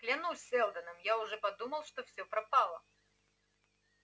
клянусь сэлдоном я уже подумал что все пропало